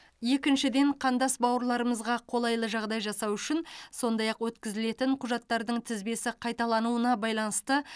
екіншіден қандас бауырларымызға қолайлы жағдай жасау үшін сондай ақ өткізілетін құжаттардың тізбесі қайталануына байланысты